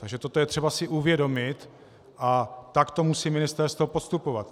Takže toto je třeba si uvědomit a takto musí ministerstvo postupovat.